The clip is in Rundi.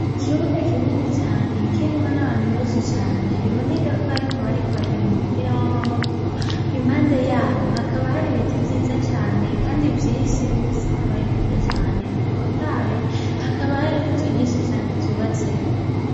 Ikibuga kinini cane kirimwo nabantu benshi cane biboneka kwarimwo abariko barakina umupira wamaboko impande yaho hakaba hari ibiti vyiza cane kandi vyinshi bifise amababi kandi menshi cane atotaye hakaba hari ninzu nyinshi cane zubatseho